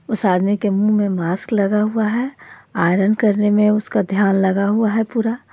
उस आदमी के मुंह में मास्क लगा हुआ है आयरन करने में उसका ध्यान लगा हुआ है पूरा.